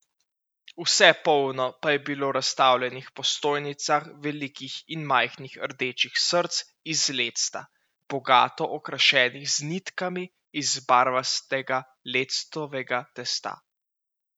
Vse polno pa je bilo razstavljenih po stojnicah velikih in majhnih rdečih src iz lecta, bogato okrašenih z nitkami iz barvastega lectovega testa.